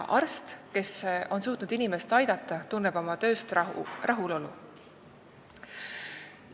Arst, kes on suutnud inimest aidata, tunneb oma tööst rahulolu.